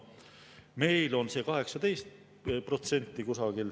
Meil on see umbes 18%.